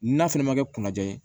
N'a fɛnɛ ma kɛ kunna ja ye